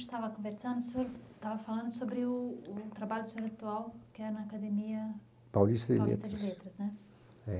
A gente estava conversando, o senhor estava falando sobre o o trabalho do senhor atual, que é na Academia Paulista de Letras, Paulista de Letras, né? É